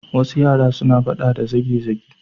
Wasu yara suna faɗa da zage-zage.